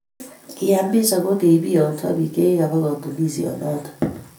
Kiamis ako biongsoo biik chikibaa katuniesiet noto